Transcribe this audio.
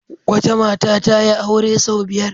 Wata mata ta yi aure sau biyar.